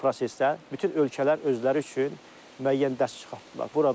Bu prosesdə bütün ölkələr özləri üçün müəyyən dərs çıxartdılar.